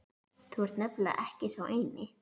Þú ert nefnilega ekki sá eini